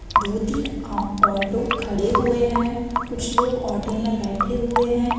दो तीन आ ऑटो खड़े हुए है कुछ लोग ऑटो मे बैठे हुए है।